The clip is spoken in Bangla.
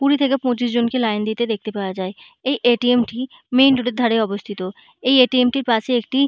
কুড়ি থেকে পঁচিশজনকে লাইন দিতে দেখতে পাওয়া হয়এই এ.টি.এম. -টি মেইন রোড -এর ধারে অবস্থিতএই এ.টি.এম. -টির পাশে একটি --